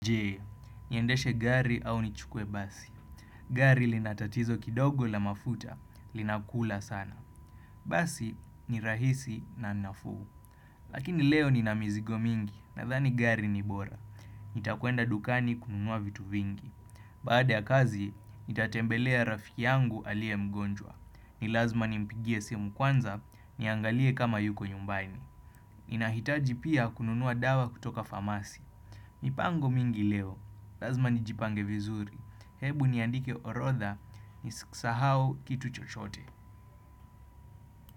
Je, niendeshe gari au nichukuwe basi. Gari lina tatizo kidogo la mafuta, linakula sana. Basi ni rahisi na nafuu. Lakini leo nina mizigo mingi, nadhani gari ni bora. Nitakwenda dukani kununua vitu vingi. Baada ya kazi, nitatembelea rafiki yangu alie mgonjwa. Ni lazma nimpigie simu kwanza, niangalie kama yuko nyumbaini. Ninahitaji pia kununua dawa kutoka famasi. Mipango mingi leo, lazima nijipange vizuri, hebu niandike orodha, nisisahau kitu chochote.